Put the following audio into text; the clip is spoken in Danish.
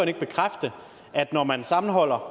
ikke bekræfte at når man sammenholder